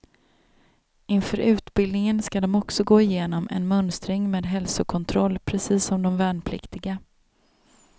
Inför utbildningen ska de också gå igenom en mönstring med hälsokontroll, precis som de värnpliktiga.